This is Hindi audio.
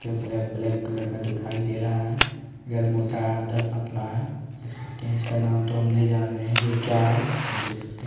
ब्लेक ब्लेक कलर का दिखाई दे रहा है। यह मोटा पतला है । देख सकते है इसका नाम तो हम नही जान रहे हैं ये क्या है।